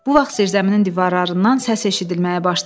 Bu vaxt zirzəminin divarlarından səs eşidilməyə başladı.